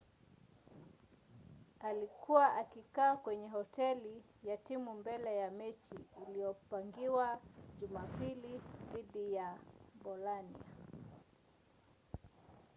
alikuwa akikaa kwenye hoteli ya timu mbele ya mechi iliyopangiwa jumapili dhidi ya bolania